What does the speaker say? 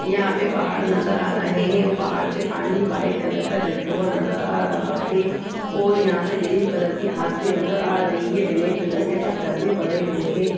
यहाँ पर पहाड़ नजर आ रहै हैं और पहाड़ से पानी व्हाइट कलर का गिरता हुआ नजर आ रहा है और यहाँ से ग्रीन कलर की घास भी नज़र आ रही है और यहाँ पे ब्लैक कलर के पत्थर भी पड़े हुए हैं।